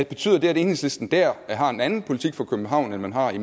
betyder det at enhedslisten der har en anden politik for københavn end man har i